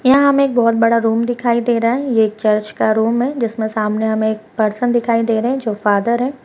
यहां हमें बहुत बड़ा रूम दिखाई दे रहा है यह चर्च का रूम है जिसमें सामने हमें एक पर्सन दिखाई दे रहे हैं जो फादर है।